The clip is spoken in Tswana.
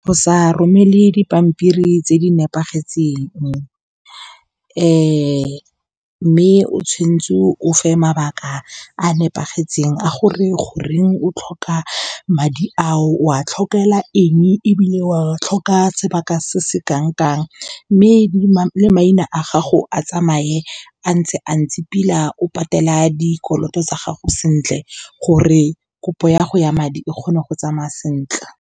Go sa romele dipampiri tse di nepagetseng , mme o tshwanetse o fe mabaka a nepagetseng a gore goreng o tlhoka madi ao, o a tlhokomela eng, e bile wa tlhoka sebaka se se kanang kang. Mme maina a gago a tsamaye a ntse pila, o patela dikoloto tsa gago sentle gore kopo ya go ya madi e kgone go tsamaya sentle.